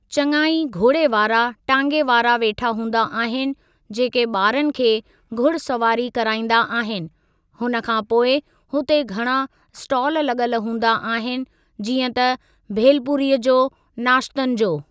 चंङा ई घोड़े वारा टांगे वारा वेठा हूंदा आहिनि जेके ॿारनि खे घुड़ सवारी कराईंदा आहिनि हुन खां पोइ हुते घणा ईस्टॉल लॻल हूंदा आहिनि जीअं त भेल पूरीअ जो, नाश्तनि जो।